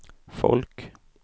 folk